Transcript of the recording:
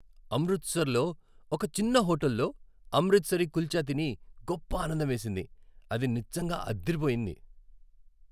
అమృత్సర్లో ఒక చిన్న హోటల్లో అమ్రిత్సరి కుల్చా తిని గొప్ప ఆనందమేసింది. అది నిజంగా అదిరిపోయింది.